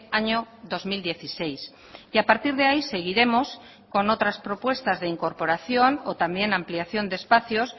año dos mil dieciséis y a partir de ahí seguiremos con otras propuestas de incorporación o también ampliación de espacios